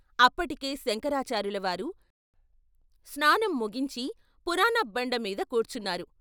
అప్పటికే శంకరా చార్యులవారు స్నానం ముగించి పురాణబ్బండ మీద కూర్చున్నారు.